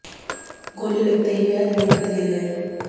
गोली लगते ही वह जमीन पर गिर गए